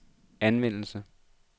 anvendes